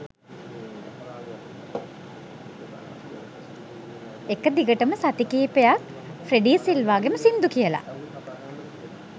එක දිගටම සති කීපයක් ෆ්‍රෙඩී සිල්වාගෙම සින්දු කියලා